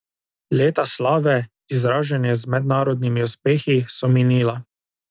Leta slave, izražene z mednarodnimi uspehi, so minila.